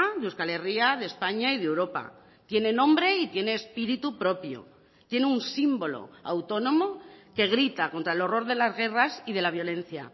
de euskal herria de españa y de europa tiene nombre y tiene espíritu propio tiene un símbolo autónomo que grita contra el horror de las guerras y de la violencia